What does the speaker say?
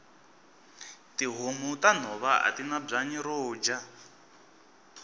tihhomu tanhova atina bwanyi roja